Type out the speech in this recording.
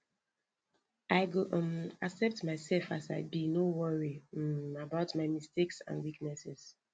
i go um accept myself as i be no worry um about my mistakes and weaknesses